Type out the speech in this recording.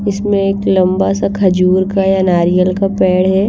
इसमें एक लंबा सा खजूर का या नारियल का पेड़ हैं।